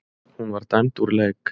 Hún var dæmd úr leik.